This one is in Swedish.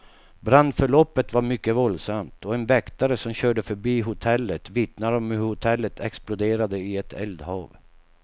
Brandförloppet var mycket våldsamt, och en väktare som körde förbi hotellet vittnar om hur hotellet exploderade i ett eldhav.